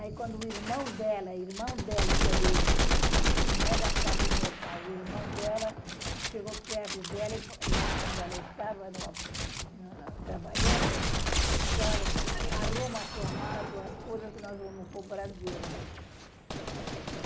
Aí quando o irmão dela, irmão dela, que é de... não é da parte do meu pai, o irmão dela, chegou perto dela, lá onde ela estava trabalhando, disse, olha, arruma tua mala, tuas coisas que nós vamos para o Brasil.